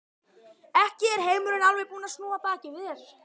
Ekki er heimurinn alveg búinn að snúa baki við þér.